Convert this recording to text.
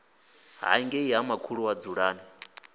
hangei ha makhulu wa dzulani